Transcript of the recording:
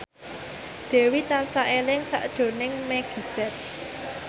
Dewi tansah eling sakjroning Meggie Z